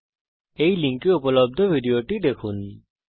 এই URL httpspoken tutorialorg এ উপলব্ধ ভিডিওটি দেখুন